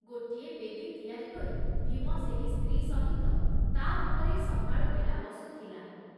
ଗୋଟିଏ ବେଦୀ ତିଆରି କରି ଭୀମ ସେହି ସ୍ତ୍ରୀ ସହିତ ତା ଉପରେ ସକାଳ ବେଳା ବସୁଥିଲା ।